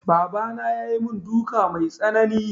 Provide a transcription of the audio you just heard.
Baba na ya yi mun duka mai tsanani